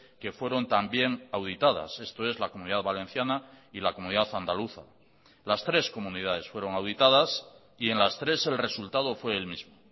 que fueron también auditadas esto es la comunidad valenciana y la comunidad andaluza las tres comunidades fueron auditadas y en las tres el resultado fue el mismo